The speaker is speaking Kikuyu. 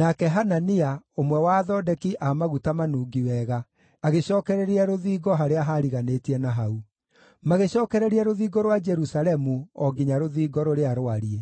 nake Hanania, ũmwe wa athondeki a maguta manungi wega, agĩcookereria rũthingo harĩa haariganĩtie na hau. Magĩcookereria rũthingo rwa Jerusalemu o nginya Rũthingo rũrĩa Rwariĩ.